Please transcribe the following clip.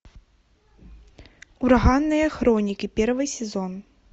ураганные хроники первый сезон